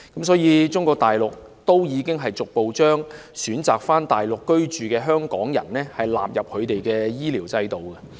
所以，國家已逐步將選擇返回內地居住的香港人納入他們的醫療制度。